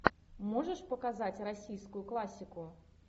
можешь показать российскую классику